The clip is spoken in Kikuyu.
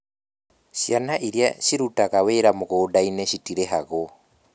Ciana iria cirutaga wĩra mũgũnda-inĩ citirĩhagwo